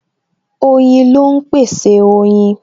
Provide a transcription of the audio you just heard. Oyin ló ń pèsè oyin